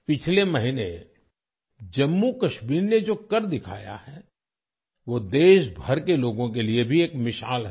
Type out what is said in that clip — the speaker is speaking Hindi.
पिछले महीने जम्मू कश्मीर ने जो कर दिखाया है वो देशभर के लोगों के लिए भी एक मिसाल है